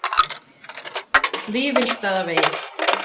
Vífilsstaðavegi